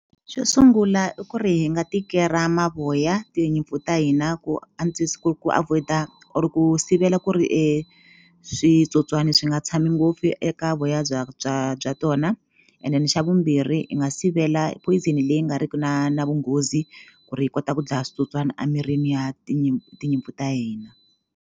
Xo sungula i ku ri hi nga tikera mavoya tinyimpfu ta hina ku antswisa ku ku avoid-a or ku sivela ku ri switsotswani swi nga tshami ngopfu eka voya bya bya bya tona and then xa vumbirhi hi nga sivela phoyizeni leyi nga riki na na vunghozi ku ri hi kota ku dlaya switsotswana A mirini ya tinyimpfu ta hina.